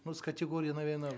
ну с категорией наверно